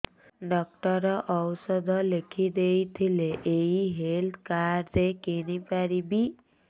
doctor ଔଷଧ ଲେଖିଦେଇଥିଲେ ଏଇ ହେଲ୍ଥ କାର୍ଡ ରେ କିଣିପାରିବି